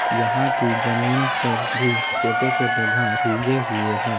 यहाँ की जमीन पर भी छोटे-छोटे घास उग हुए हैं।